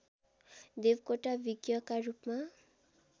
देवकोटा विज्ञका रूपमा